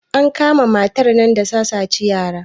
an kama matar nan da ta saci yara